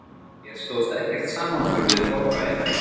Hér stóðst ekkert samanburð við torfbæinn eða kjallarann